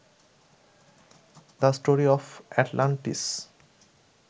the story of Atlantis